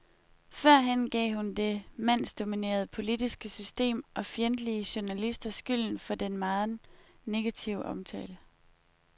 Førhen gav hun det mandsdominerede politiske system og fjendtlige journalister skylden for den megen negative omtale.